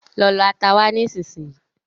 Lọ lọ ata wá nisínsinyí